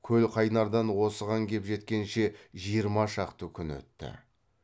көлқайнардан осыған кеп жеткенше жиырма шақты күн өтті